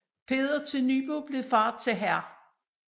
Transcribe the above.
Peder til Nybo blev fader til hr